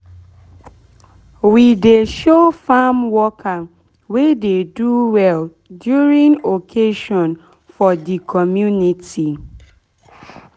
we dey show farm worker wey dey do well during occasion for de community